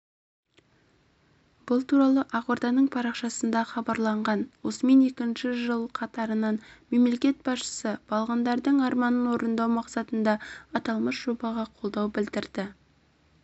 бұл туралы ақорданың парақшасында хабарланған осымен екінші жыл қатарынан мемлекет басшысы балғындардың арманын орындау мақсатында аталмыш жобаға қолдау білдірді